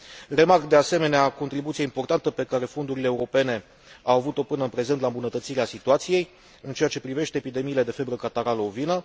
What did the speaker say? Remarc, de asemenea, contribuția importantă pe care fondurile europene au avut o până în prezent la îmbunătățirea situației în ceea ce privește epidemiile de febră catarală ovină.